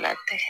Latigɛ